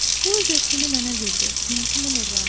O öz ətrini mənə verdi, həyatımı nurlandırdı.